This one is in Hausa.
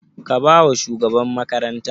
Ka ba wa shugaban makaranta?